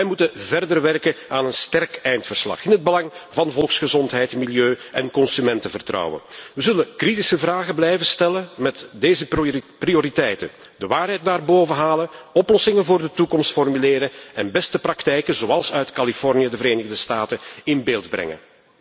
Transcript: Wij moeten verder werken aan een sterk eindverslag in het belang van de volksgezondheid, het milieu en het consumentenvertrouwen. We zullen kritische vragen blijven stellen met deze prioriteiten de waarheid naar boven halen, oplossingen voor de toekomst formuleren en beste praktijken, zoals uit Californië, de Verenigde Staten, in beeld brengen.